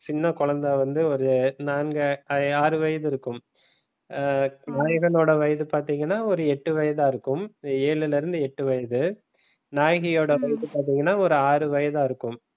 சின்ன குழந்தை வந்து ஒரு நான்கு ஆறு வயது இருக்கும ஹம் நாயகன் ஓட வயது பாத்தீங்கன்னா ஒரு எட்டு வயதாக இருக்கும் ஏழுல இருந்து எட்டு வயது நாயகியோட வயசு பாத்தீங்கன்னா ஒரு ஆறு வயதா இருக்கும்